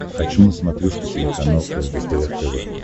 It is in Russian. хочу на смотрешке телеканал лдпр тв